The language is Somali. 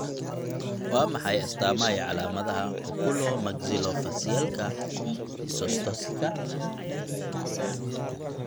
Waa maxay astamaha iyo calaamadaha Oculomaxillofacialka dysostosiska?